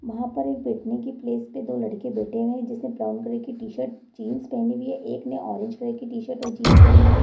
वहाँ पर बैठने की प्लेस पे दो लड़के बैठे हैं जिसने ब्राउन कलर की टी-शर्ट जीन्स पहनी हुई है। एक ने ऑरेंज कलर की टी-शर्ट और जीन्स पहनी हुई है।